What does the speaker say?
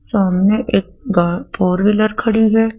सामने एक गा फोर व्हीलर खड़ी है।